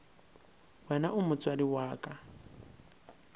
wena o motswadi wa ka